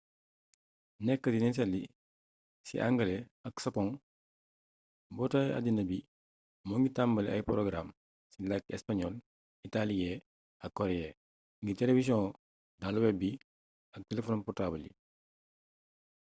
nekk di nettali ci angale ak sapoŋ mbootaay addina bi moo ngi tambale ay porogaraam ci làkki español itaaliyee ak koreyee ngir telewisiyoŋ daluweb bi ak telefon portaabal yi